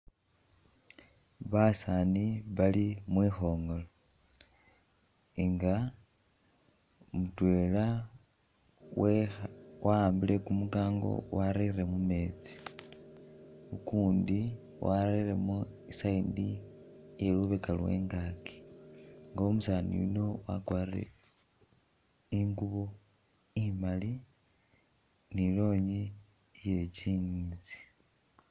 Basaani bali mwikhongoolo nga mutwela we.. wawambile kumukango warele mumeetsi ukundi warelemo i'side yelubeka lwengaki nga umusaani yuno wakwalire ingubo imaali ni i'lonyi iye jinisi